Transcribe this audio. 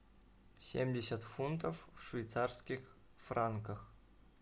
семьдесят фунтов в швейцарских франках